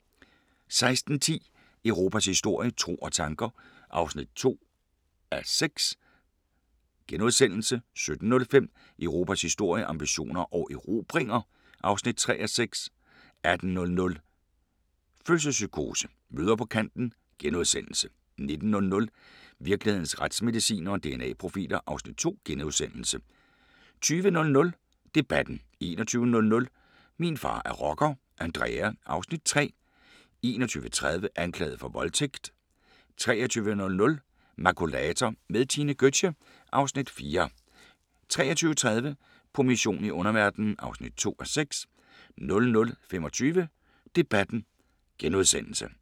16:10: Europas historie – tro og tanker (2:6)* 17:05: Europas historie – ambitioner og erobringer (3:6) 18:00: Fødselspsykose: Mødre på kanten * 19:00: Virkelighedens retsmedicinere: DNA-profiler (Afs. 2)* 20:00: Debatten 21:00: Min far er rocker – Andrea (Afs. 3) 21:30: Anklaget for voldtægt 23:00: Makulator med Tine Gøtzsche (Afs. 4) 23:30: På mission i underverdenen (2:6) 00:25: Debatten *